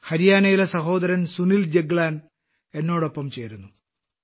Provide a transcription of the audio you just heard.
ഹരിയാനയിലെ സഹോദരൻ സുനിൽ ജഗ്ലാൻ എന്നോടൊപ്പം ചേരുന്നു